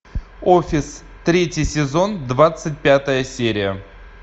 офис третий сезон двадцать пятая серия